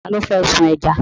Ta ló fẹ́ sun ẹja?